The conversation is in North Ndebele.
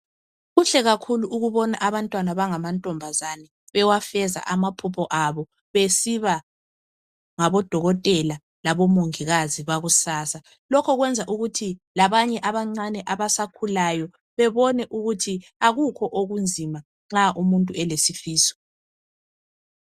Kuhle kakhulu ukubona abantwana abangamantombazana bewafeza amaphuoho abo. Besiba ngabodokotela, labomongikazi bakusasa. Lokhu kwenza ukuthi labanye abancane abasakhulayo, bebone ukuthi kakukho okunzima. Nxa umuntu elesifiso.